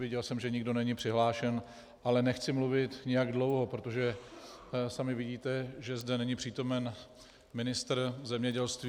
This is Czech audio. Viděl jsem, že nikdo není přihlášen, ale nechci mluvit nijak dlouho, protože sami vidíte, že zde není přítomen ministr zemědělství.